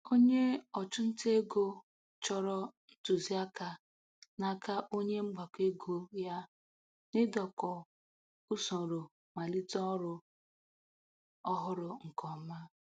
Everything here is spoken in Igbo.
Onye ọchụ nta ego chọrọ ntụziaka n'aka onye mgbakọ ego ya n'idokọ usoro malite ọrụ ọhụrụ nke ọma.